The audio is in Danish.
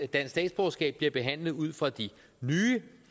dansk statsborgerskab bliver behandlet ud fra de nye